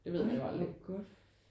Ej hvor godt